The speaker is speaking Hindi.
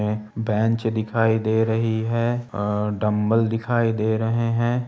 ए बैंच दिखाई दे रही है ए-डम्ब्बेल दिखाई दे रहे हैं।